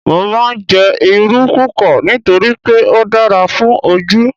Mo máa ń jẹ́ Irú púpọ̀ nítorí pé ó dára fún Ojú.